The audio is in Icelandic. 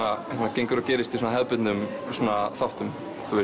gengur og gerist í svona hefðbundnum þáttum